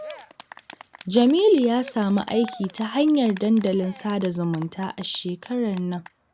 Jamilu ya samu aiki ta hanyar dandalin sada zumunta a shekarar nan